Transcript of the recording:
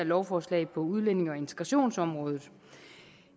lovforslag på udlændinge og integrationsområdet